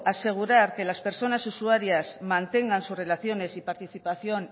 asegurar que las personas usuarias mantengan sus relaciones y participación